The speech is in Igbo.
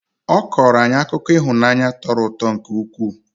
Ọ kọrọ anyị akụkọ ihunaanyi tọrọ ụtọ nke ụkwụ.